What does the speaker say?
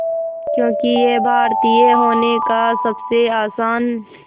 क्योंकि ये भारतीय होने का सबसे आसान